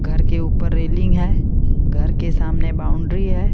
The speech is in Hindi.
घर के ऊपर रेलिंग है घर के सामने बाउंड्री है।